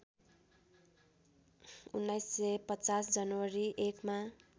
१९५० जनवरी १ मा